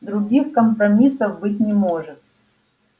других компромиссов быть не может